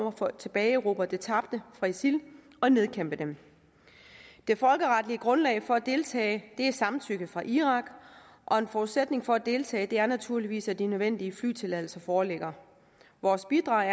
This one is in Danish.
at få tilbageerobret det tabte fra isil og nedkæmpe dem det folkeretlige grundlag for at deltage er et samtykke fra irak og en forudsætning for at deltage er naturligvis at de nødvendige flytilladelser foreligger vores bidrag er